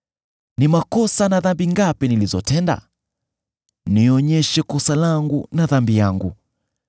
Ni makosa na dhambi ngapi nilizotenda? Nionyeshe kosa langu na dhambi yangu.